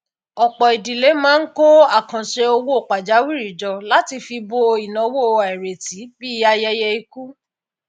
ọpọ idílé máa ń kó àkàǹṣe owó pajawiri jọ láti fi bo ináwó àìrètí bíi ayẹyẹ ikú